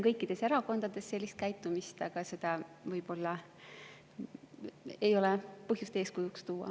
Kõikides erakondades on sellist käitumist, aga seda võib-olla ei ole põhjust eeskujuks tuua.